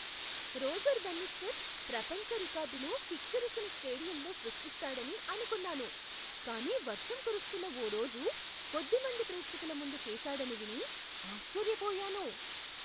Roger Bannister ప్రపంచ రికార్డును కిక్కిరిసిన స్టేడియంలో సృష్టిస్తాడని అనుకున్నాను, కానీ వర్షం కురుస్తున్న ఓ రోజున కొద్ది మంది ప్రేక్షకుల ముందు చేసాడని విని ఆశ్చర్యపోయాను.